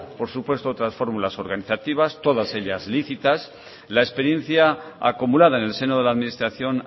por supuesto otras fórmulas organizativos todas ellas lícitas la experiencia acumulada en el seno de la administración